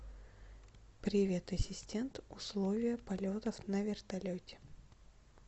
привет ассистент условия полетов на вертолете